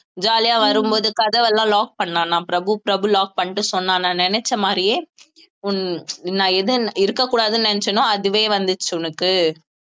jolly ஆ வரும்போது கதவெல்லாம் lock பண்ணான் நான் பிரபு பிரபு lock பண்ணிட்டு சொன்னான் நான் நினைச்ச மாதிரியே உன் நான் எதுவும் இருக்கக் கூடாதுன்னு நினைச்சேனோ அதுவே வந்துருச்சு உனக்கு